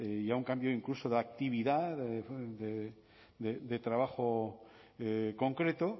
y a un cambio incluso de actividad de trabajo concreto